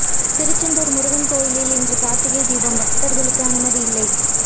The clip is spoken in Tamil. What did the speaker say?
திருச்செந்தூா் முருகன் கோயிலில் இன்று காா்த்திகை தீபம் பக்தா்களுக்கு அனுமதி இல்லை